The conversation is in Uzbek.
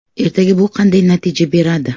Ertaga bu qanday natija beradi?